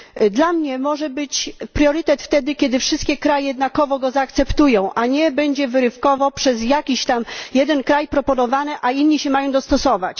Dla mnie może być priorytet wtedy, kiedy wszystkie kraje jednakowo go zaakceptują, a nie będzie wyrywkowo przez jakiś tam jeden kraj proponowany, a inni mają się dostosować.